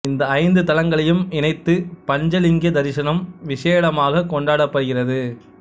இந்த ஐந்து தலங்களையும் இணைத்து பஞ்சலிங்க தரிசனம் விசேடமாகக் கொண்டாடப்படுகிறது